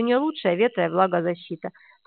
у неё лучше ветро и влагозащита